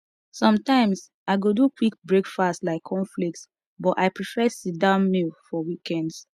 sometimes i go do quick breakfast like cornflakes but i prefer sitdown meal for weekends